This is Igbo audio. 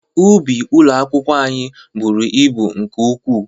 Ubi ụlọ akwụkwọ anyị bụrụ ịbụ nke ukwu.